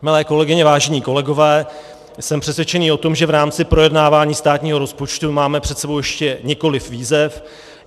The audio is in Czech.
Milé kolegyně, vážení kolegové, jsem přesvědčený o tom, že v rámci projednávání státního rozpočtu máme před sebou ještě několik výzev.